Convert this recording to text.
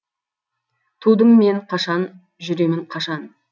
тудым мен қашан жүремін қашан